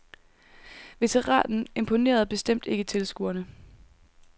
Veteranen imponerende bestemt ikke tilskuerne.